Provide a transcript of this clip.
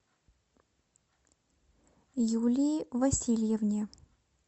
юлии васильевне